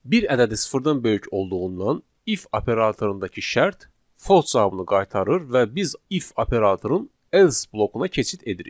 Bir ədədi sıfırdan böyük olduğundan if operatorundakı şərt false cavabını qaytarır və biz if operatorunun else blokuna keçid edirik.